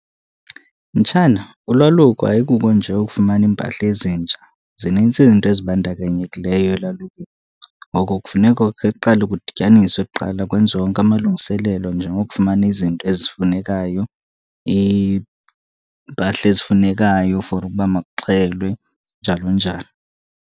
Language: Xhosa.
Mtshana, ulwaluko ayikuko nje ukufumana iimpahla ezintsha, zinintsi izinto azibandakanyekileyo elalukweni. Ngoko kufuneka kukhe kuqale kudityaniswe kuqala kwenziwe onke amalungiselelo njengokufumana izinto ezifunekayo, iimpahla ezifunekayo for ukuba makuxhelwe njalo njalo.